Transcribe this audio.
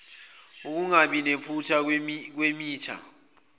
ukungabi naphutha kwemitha